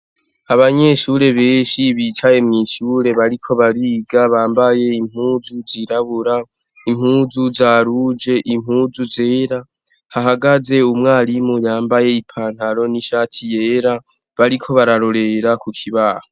Abanyeshure benshi bicaye mwishure bariko bariga bambaye impuzu zirabura impuzu za ruje impuzu zera hahagaze umwarimu yambaye ipantalo n' ishati yera bariko bararorera kukibaho